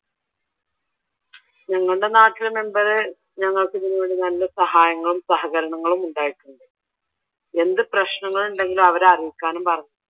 ഞങ്ങളുടെ നാട്ടിലെ മെമ്പർ ഞങ്ങൾക്ക് ഇതുനുവേണ്ടി നല്ല സഹായങ്ങളും സഹകരണങ്ങളും ഉണ്ടായിട്ടുണ്ട് എന്ത് പ്രശ്നങ്ങൾ ഉണ്ടെങ്കിലും അവരെ അറിയിക്കാനും പറഞ്ഞു.